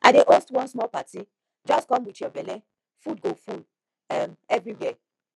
i dey host one small party just come with your belle food go full um everywhere